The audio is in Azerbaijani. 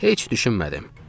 Heç düşünmədim.